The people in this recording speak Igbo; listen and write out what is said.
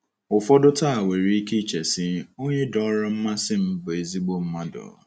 Ụfọdụ taa nwere ike iche si, Onye dọọrọ mmasị m bụ ezIgbo mmadụ.